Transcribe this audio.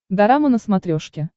дорама на смотрешке